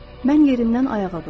Mən yerimdən ayağa durdum.